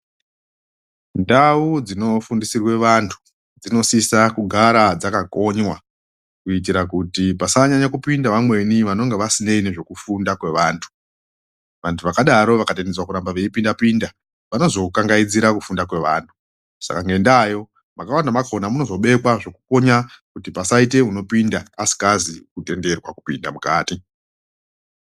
Ndau dzinofundisirwe vantu dzinosisa kugara dzakakonywa kuitira kuti pasanyanya kupinda vamweni vanongo vasinei nezvekufunda kweantu , vantu vakadaro vakatendedzwa kuramba veipinda pinda vanozokangaidzira kufunda kwevanhu saka ngendayo makawanda makona munozobekwa zvekukonya kuti pasaite unopinda asingazii kutenderwa kupinde mukati.